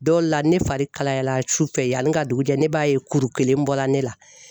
Dɔw la ne fari kalayara su fɛ yani ŋa dugu jɛ ne b'a ye kuru kelen bɔla ne la.